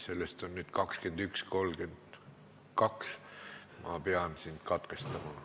Sul on juba läinud 21.32 minutit ja ma pean sind katkestama.